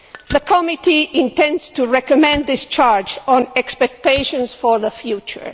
The Committee intends to recommend discharge on expectations for the future.